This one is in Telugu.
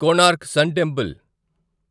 Konark sun temple